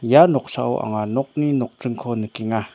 ia noksao anga nokni nokdringko nikenga.